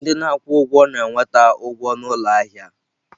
Ndị na-akwụ ụgwọ na-enweta ụgwọ n'ụlọ ahịa ahịa.